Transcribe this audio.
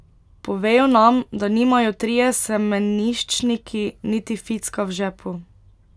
Povejo nam, da nimajo trije semeniščniki niti ficka v žepu.